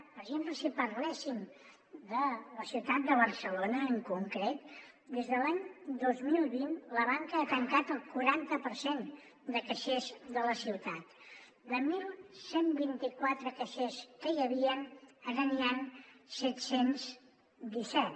per exemple si parléssim de la ciutat de barcelona en concret des de l’any dos mil vint la banca ha tancat el quaranta per cent de caixers de la ciutat de onze vint quatre caixers que hi havien ara n’hi han set cents i disset